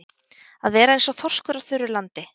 Að vera eins og þorskur á þurru landi